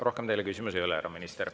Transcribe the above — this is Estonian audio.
Rohkem teile küsimusi ei ole, härra minister.